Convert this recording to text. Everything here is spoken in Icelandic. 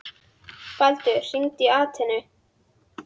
Baldur, hringdu í Atenu.